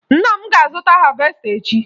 Nna m ga-azụta havesta echi